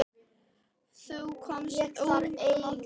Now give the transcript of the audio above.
Þú komst öllum á óvart.